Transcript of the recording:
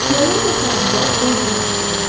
Yayda torpağımıza bol günəş işığı düşür.